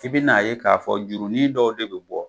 'I bi n'a ye k'a fɔ jurunin dɔw de be bi bɔ